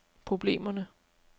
problemerne